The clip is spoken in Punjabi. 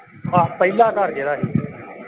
ਆਹ ਪਹਿਲਾਂ ਘਰ ਜਿਹੜਾ ਸੀ।